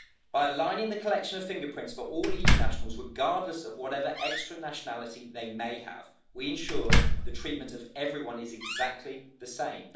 By aligning the collection of fingerprints for all EU nationals, regardless of whatever extra nationality they may have, we have ensured that the treatment for everyone is exactly the same.